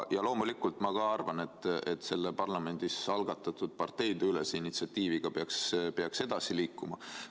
Ja loomulikult ka mina arvan, et selle parlamendis algatatud parteideülese initsiatiiviga peaks edasi liikuma.